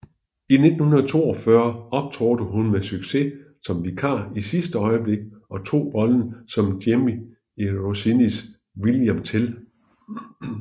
I 1942 optrådte hun med succes som vikar i sidste øjeblik og tog rollen som Jemmy i Rossinis William Tell